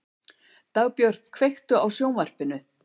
Dagbjört, kveiktu á sjónvarpinu.